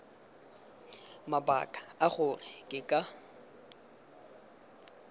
mabaka a gore ke ka